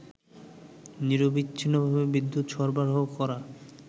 নিরবিচ্ছিন্নভাবে বিদ্যুৎ সরবরাহ করা